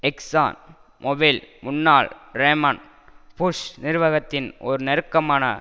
exon Mobil முன்னாள் Raymond Bush நிர்வகத்தின் ஒரு நெருக்கமான